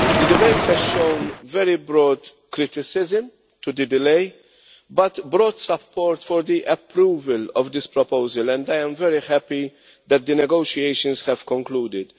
It has shown a very broad criticism of the delay but broad support for the approval of this proposal and I am very happy that the negotiations have concluded.